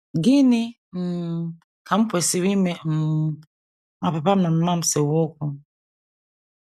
Gịnị um Ka M Kwesịrị Ime um Ma Papa M na Mama M Sewe Okwu?